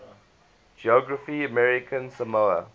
geography of american samoa